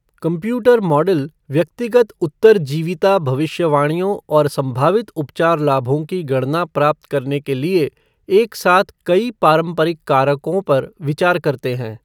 Computer model व्यक्तिगत उत्तरजीविता भविष्यवाणियों और संभावित उपचार लाभों की गणना प्राप्त करने के लिए एक साथ कई पारंपरिक कारकों पर विचार करते हैं।